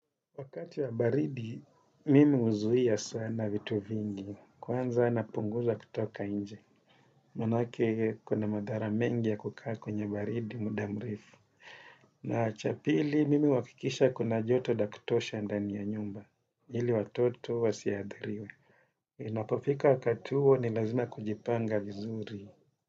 Wakati wa baridi, mimi huzuia sana vitu vingi, kwanza napunguza kutoka nje. Maanake kuna madhara mengi ya kukaa kwenye baridi, muda mrefu. Na cha pili, mimi huhakikisha kuna joto la kutosha ndani ya nyumba. Ili watoto wasiathiriwe. Inapofika wakati huo, ni lazima kujipanga vizuri.